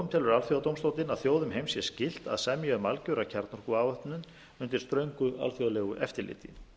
telur alþjóðadómstóllinn að þjóðum heims sé skylt að semja um algjöra kjarnorkuafvopnun undir ströngu alþjóðlegu eftirliti